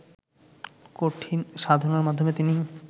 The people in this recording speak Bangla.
কঠিন সাধনার মাধ্যমে তিনি